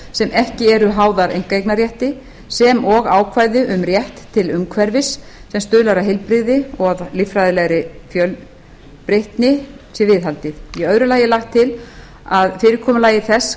sem ekki eru háðar einkaeignarrétti sem og ákvæði um rétt til umhverfis sem stuðlar að heilbrigði og að líffræðilegri fjölbreytni sé viðhaldið í öðru lagi er lagt til að fyrirkomulagi þess